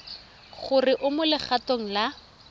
gore o mo legatong la